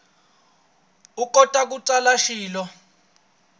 u kota ku tsala swilo